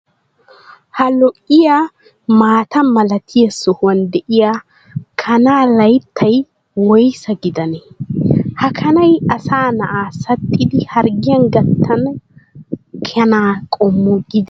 Ha lo'iyaa maataa malatiyaa sohuwaan de'iyaa kana layittay woysa gidanee? Ha kanay asa na"aa saxxidi harggiyaan gattiyaa kanaa qommo gidenee?